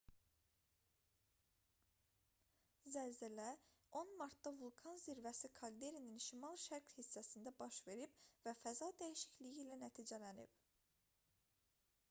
zəlzələ 10 martda vulkan zirvəsi kalderinin şimal-şərq hissəsində baş verib və faza dəyişikliyi ilə nəticələnib